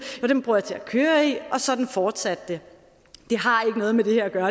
dem bruger jeg til at køre i og sådan fortsatte det det har ikke noget med det her at gøre